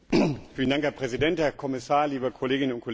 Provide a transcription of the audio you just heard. Herr Präsident, Herr Kommissar, liebe Kolleginnen und Kollegen!